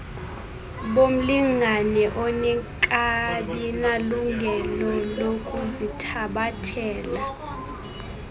bomlingane ongekabinalungelo lokuzithabathela